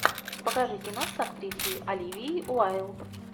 покажи кино с актрисой оливией уайлд